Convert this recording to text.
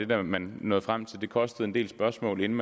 det man nåede frem til og det kostede en del spørgsmål inden